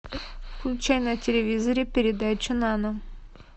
включай на телевизоре передачу нано